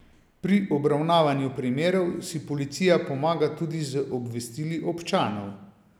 Pri obravnavanju primerov si policija pomaga tudi z obvestili občanov.